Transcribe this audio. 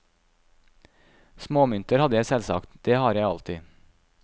Småmynter hadde jeg selvsagt, det har jeg alltid.